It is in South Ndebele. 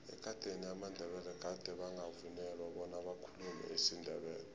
ekadeni amandebele gade bangavunyelwa bona bakhulume isindebele